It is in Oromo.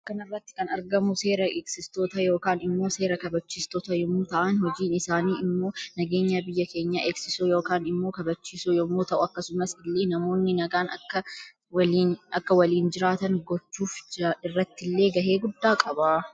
Suuraa kanarratti kan argamu seera eegsiistoota yookaan immoo seera kabachiistota yommuu ta'an hojiin isaanii immoo nageenya biyya keenya eegsiisuu yookaan immoo kabachiisuu yommuu a'u akkasumas ille namoonni nagaan Akka waliin jiraatan gochuuf irrattille gahee guddaa qaba.